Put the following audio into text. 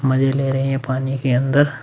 मजे ले रहे हैं ये पानी के अंदर --